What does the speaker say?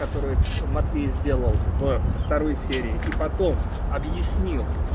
который матвей сделал в второй серии и потом объяснил